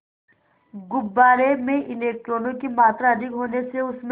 गुब्बारे में इलेक्ट्रॉनों की मात्रा अधिक होने से उसमें